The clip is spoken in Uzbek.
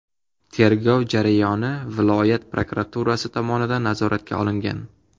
Tergov jarayoni viloyat prokuraturasi tomonidan nazoratga olingan.